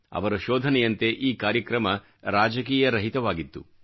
ಅವರ ಶೋಧನೆಯಂತೆ ಈ ಕಾರ್ಯಕ್ರಮ ರಾಜಕೀಯರಹಿತವಾಗಿತ್ತು